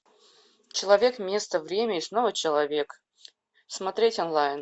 человек место время и снова человек смотреть онлайн